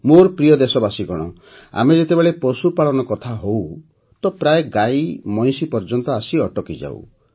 ମୋର ପ୍ରିୟ ଦେଶବାସୀଗଣ ଆମେ ଯେତେବେଳେ ପଶୁପାଳନ କଥା ହେଉ ତ ପ୍ରାୟ ଗାଈମଇଁଷି ପର୍ଯ୍ୟନ୍ତ ଆସି ଅଟକିଯାଉ